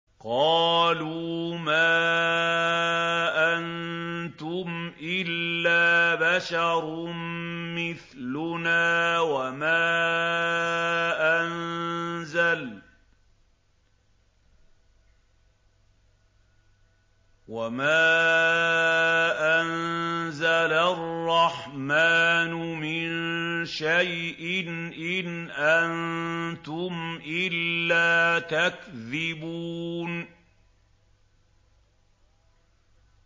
قَالُوا مَا أَنتُمْ إِلَّا بَشَرٌ مِّثْلُنَا وَمَا أَنزَلَ الرَّحْمَٰنُ مِن شَيْءٍ إِنْ أَنتُمْ إِلَّا تَكْذِبُونَ